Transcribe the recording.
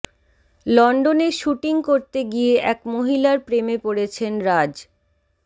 লন্ডনে শুটিং করতে গিয়ে এক মহিলার প্রেমে পড়েছেন রাজ